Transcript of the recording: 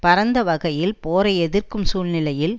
பரந்த வகையில் போரை எதிர்க்கும் சூழ்நிலையில்